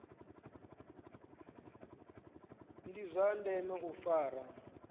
ndi zwa ndeme u fara